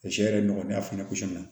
A cɛ yɛrɛ nɔgɔlen fana kun na